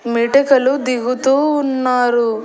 మెటికలు దిగుతూ ఉన్నారు.